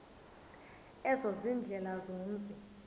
ezo ziindlela zomzi